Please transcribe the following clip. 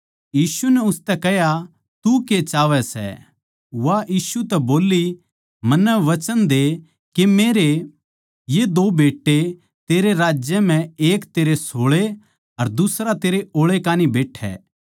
यीशु नै उसतै कह्या तू के चाहवै सै वा यीशु तै बोल्ली मन्नै वचन दे के मेरे ये दो बेट्टे तेरै राज्य म्ह एक तेरै सोळै अर दुसरा तेरै ओळै बैट्ठै